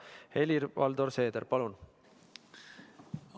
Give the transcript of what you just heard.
Helir-Valdor Seeder, palun!